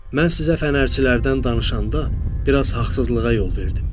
Mən sizə fənərçilərdən danışanda biraz haqsızlığa yol verdim.